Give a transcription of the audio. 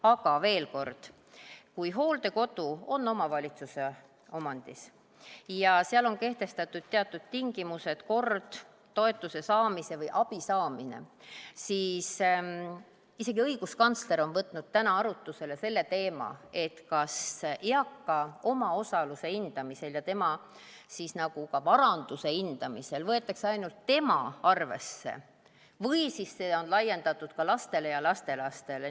Aga veel kord, kui hooldekodu on omavalitsuse omandis ja seal on kehtestatud teatud tingimused ja kord toetuse ja abi saamiseks, siis isegi õiguskantsler on võtnud täna arutusele selle teema, et kas eaka omaosaluse hindamisel ja tema varanduse hindamisel võetakse arvesse ainult tema või on see laiendatud ka lastele ja lastelastele.